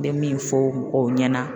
N bɛ min fɔ mɔgɔw ɲɛna